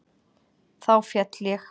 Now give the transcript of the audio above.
Þá féll ég.